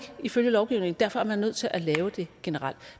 ifølge lovgivningen og derfor er man nødt til at lave det generelt